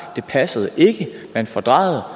det passede ikke man fordrejede